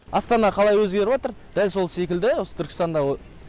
астана қалай өзгеріватр дәл сол секілді осы түркістанда